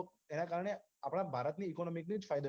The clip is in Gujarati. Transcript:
એના કારણે આપણા ભારતની economy ને જ ફાયદો થશે